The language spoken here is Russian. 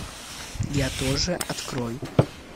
я тоже открой